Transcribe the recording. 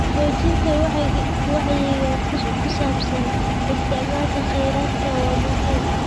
Xoojinta wacyiga ku saabsan isticmaalka kheyraadka waa muhiim.